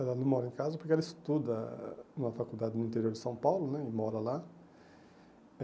Ela não mora em casa porque ela estuda numa faculdade no interior de São Paulo né e mora lá.